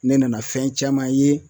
Ne nana fɛn caman ye